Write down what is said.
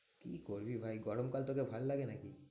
কি করবি ভাই? গরমকাল তোকে ভালো লাগে নাকি?